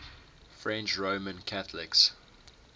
french roman catholics